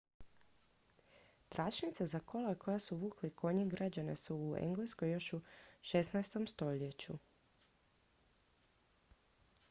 tračnice za kola koja su vukli konji građene su u engleskoj još u 16. stoljeću